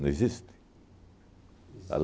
existe?